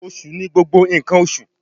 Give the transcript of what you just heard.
Osu ni gbogbo nkan oṣu